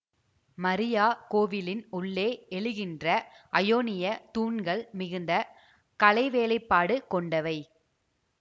மரியா கோவிலின் உள்ளே எழுகின்ற அயோனிய தூண்கள் மிகுந்த கலைவேலைப்பாடு கொண்டவை